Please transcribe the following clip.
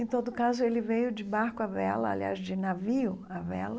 Em todo caso, ele veio de barco à vela, aliás, de navio à vela.